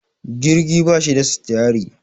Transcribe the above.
jirgi ba shi da sitiyari